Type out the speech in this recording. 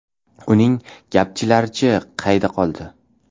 Uning ‘gapchi’lari-chi, qayda qoldi?